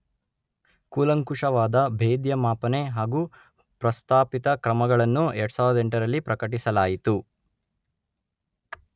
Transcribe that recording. ಕೂಲಂಕುಷವಾದ ಭೇದ್ಯ ಮಾಪನೆ ಹಾಗೂ ಪ್ರಸ್ತಾಪಿತ ಕ್ರಮಗಳನ್ನು ಎರಡು ಸಾವಿರದ ಎಂಟರಲ್ಲಿ ಪ್ರಕಟಿಸಲಾಯಿತು